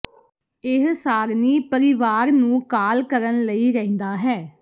ਇਹ ਸਾਰਣੀ ਪਰਿਵਾਰ ਨੂੰ ਕਾਲ ਕਰਨ ਲਈ ਰਹਿੰਦਾ ਹੈ